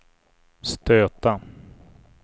stöta